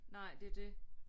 Nej det er det